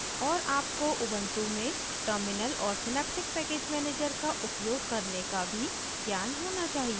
और आपको उबन्टु में टर्मिनल और सिनेप्टिक पैकेज मैनेजर का उपयोग करने का भी ज्ञान होना चाहिए